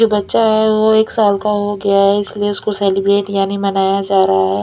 जो बच्चा है वो एक साल का हो गया है इसलिए उसको सेलिब्रेट यानी मनाया जा रहा है।